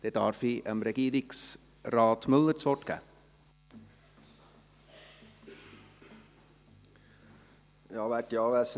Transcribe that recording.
Dann darf ich Regierungsrat Müller das Wort erteilen.